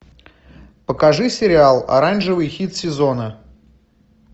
покажи сериал оранжевый хит сезона